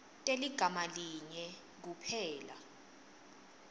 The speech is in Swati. teligama linye kuphela